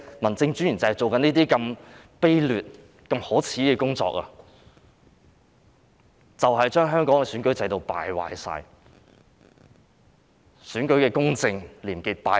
民政專員正在做這些卑劣、可耻的工作，令香港的選舉制度敗壞、令選舉的公正和廉潔敗壞。